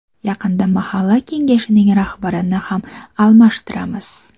Yaqinda Mahalla kengashining rahbarini ham almashtiramiz.